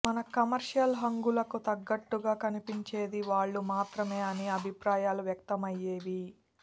మన కమర్షియల్ హంగులకి తగ్గట్టుగా కనిపించేది వాళ్ళు మాత్రమే అనే అభిప్రాయాలు వ్యక్తమయ్యేవి